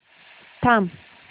थांब